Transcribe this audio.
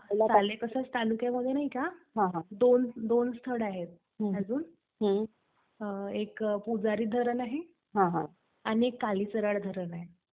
सालेकसा तालुक्यामध्ये नाही का, दोन स्थळ आहेत अजून, एक पुजारी धरण आहे आणि एक कालेसरड धरण आहे.